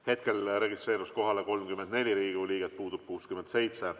Hetkel registreerus kohale 34 Riigikogu liiget, puudub 67.